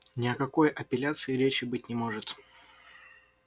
ни о какой апелляции и речи быть не может